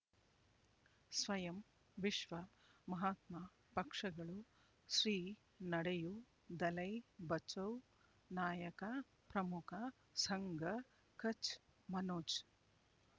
ಸ್ವಯಂ ವಿಶ್ವ ಮಹಾತ್ಮ ಪಕ್ಷಗಳು ಶ್ರೀ ನಡೆಯೂ ದಲೈ ಬಚೌ ನಾಯಕ ಪ್ರಮುಖ ಸಂಘ ಕಚ್ ಮನೋಜ್